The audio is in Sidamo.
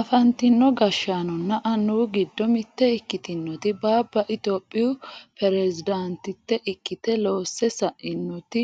afantino gashshaanonna annuwu giddo mitte ikkitinoti baabba itiyophiyu peresidaantitte ikkite loosse sa'inoti